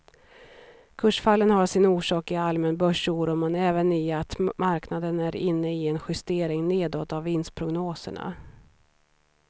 Kursfallen har sin orsak i allmän börsoro men även i att marknaden är inne i en justering nedåt av vinstprognoserna.